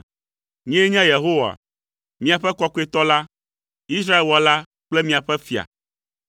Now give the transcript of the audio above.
Nyee nye Yehowa, miaƒe Kɔkɔetɔ la, Israel Wɔla kple miaƒe Fia.”